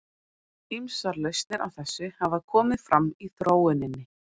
Ýmsar lausnir á þessu hafa komið fram í þróuninni.